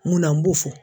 Munna n b'o fɔ